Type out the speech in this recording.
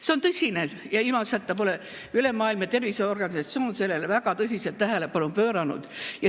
See on tõsine ja mitte ilmaasjata pole Maailma Terviseorganisatsioon sellele väga tõsiselt tähelepanu pööranud.